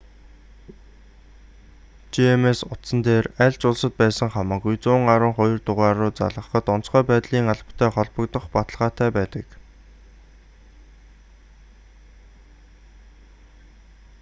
gsm утсан дээр аль ч улсад байсан хамаагүй 112 дугаар руу залгахад онцгой байдлын албатай холбогдох баталгаатай байдаг